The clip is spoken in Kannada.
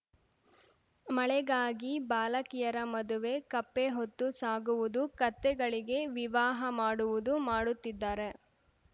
ಮಳೆಗಾಗಿ ಬಾಲಕಿಯರ ಮದುವೆ ಕಪ್ಪೆ ಹೊತ್ತು ಸಾಗುವುದು ಕತ್ತೆಗಳಿಗೆ ವಿವಾಹ ಮಾಡುವುದು ಮಾಡುತ್ತಿದ್ದಾರೆ